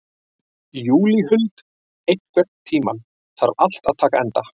Júlíhuld, einhvern tímann þarf allt að taka enda.